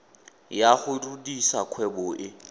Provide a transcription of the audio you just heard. ya go rudisa kgwebo e